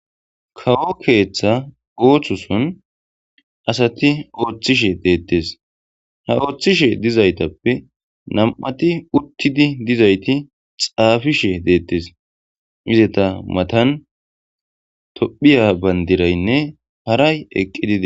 kawo keeththa oohthoson asati ooththishe deettes ha ooththishe dizaytappe nam7ati uttidi dizayti xaafishe deettes izeta matan tophiya bandiraynne haray eqqi dida